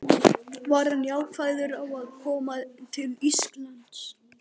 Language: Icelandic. Var hann jákvæður á að koma til Íslands?